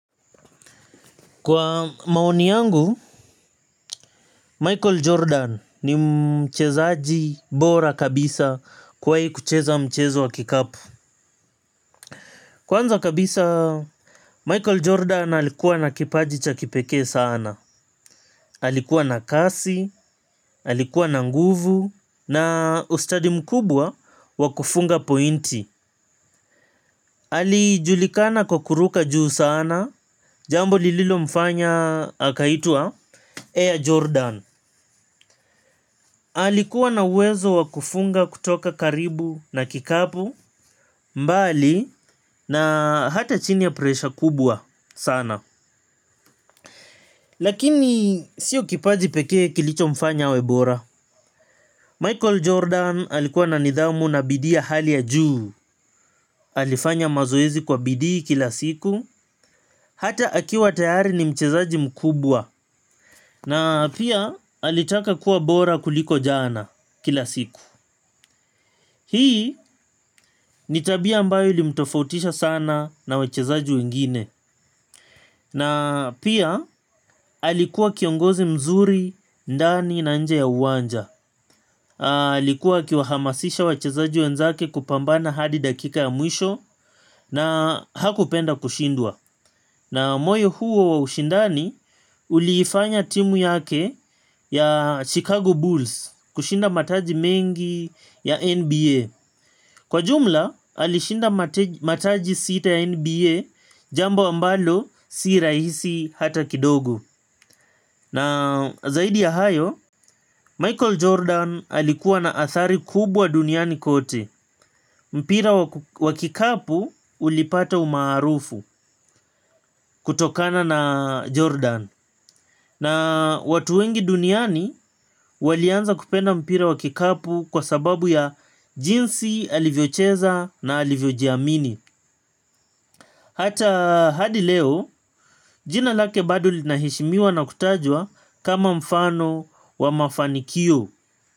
Kwa maoni yangu, Michael Jordan ni mchezaji bora kabisa kwa hii kucheza mchezo wa kikapu. Kwanza kabisa, Michael Jordan alikuwa na kipaji cha kipekee sana. Alikuwa na kasi, alikuwa na nguvu, na ustadi mkubwa wa kufunga pointi. Alijulikana kwa kuruka juu sana, jambo lililomfanya akaitwa Air Jordan. Alikuwa na uwezo wa kufunga kutoka karibu na kikapu, mbali na hata chini ya presha kubwa sana. Lakini sio kipaji pekee kilichomfanya awe bora, Michael Jordan alikuwa na nidhamu na bidii ya hali ya juu. Alifanya mazoezi kwa bidii kila siku. Hata akiwa tayari ni mchezaji mkubwa. Na pia alitaka kuwa bora kuliko jana kila siku. Hii ni tabia ambayo ili mtofautisha sana na wachezaji wengine. Na pia alikuwa kiongozi mzuri, ndani na nje ya uwanja. Alikuwa akiwahamasisha wachezaji wenzake kupambana hadi dakika ya mwisho na hakupenda kushindwa. Na moyo huo wa ushindani uliifanya timu yake ya Chicago Bulls kushinda mataji mengi ya NBA. Kwa jumla, alishinda mataji sita ya NBA jambo ambalo si rahisi hata kidogo. Na zaidi ya hayo, Michael Jordan alikuwa na athari kubwa duniani kote. Mpira wa kikapu ulipata umaarufu kutokana na Jordan. Na watu wengi duniani walianza kupenda mpira wa kikapu kwa sababu ya jinsi alivyocheza na alivyojiamini. Hata hadi leo, jina lake bado linaheshimiwa na kutajwa kama mfano wa mafanikio.